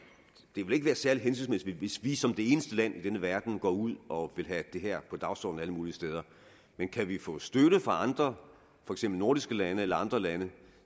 det vil være særlig hensigtsmæssigt hvis vi som det eneste land i denne verden går ud og vil have det her på dagsordenen alle mulige steder men kan vi få støtte fra andre for eksempel nordiske lande eller andre lande